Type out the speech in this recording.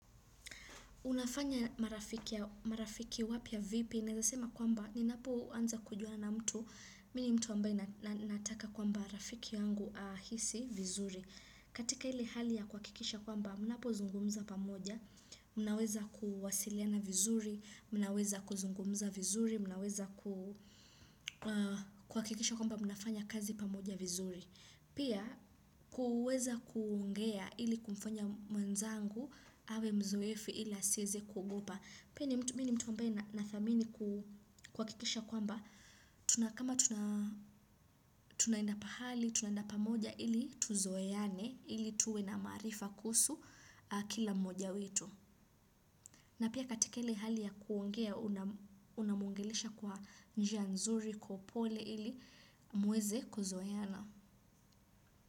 Unafanya marafiki wapya vipi, naeza sema kwamba ninapo anza kujuana na mtu, mimi mtu ambaye nataka kwamba rafiki yangu ahisi vizuri. Katika ile hali ya kuhakikisha kwamba, mnapo zungumza pamoja, mnaweza kuwasiliana vizuri, mnaweza kuzungumza vizuri, mnaweza kuhakikisha kwamba mnafanya kazi pamoja vizuri. Pia kuweza kuongea ili kumfanya mwenzangu awe mzoefu ili asieze kuogopa. Pia mimi ni mtu ambaye nadhamini kuhakikisha kwamba. Tuna, kama tunaenda pahali, tunaenda pamoja ili tuzoeane ili tuwe na maarifa kuhusu kila mmoja wetu. Na pia katika ile hali ya kuongea unamwongelesha kwa njia nzuri kwa upole ili mueze kuzoeana.